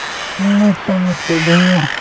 নিশ্চয় নিশ্চয়, ধুনীয়া